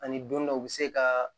Ani don dɔ u bɛ se ka